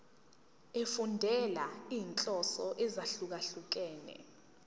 efundela izinhloso ezahlukehlukene